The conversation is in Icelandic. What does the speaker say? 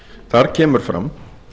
þar kemur fram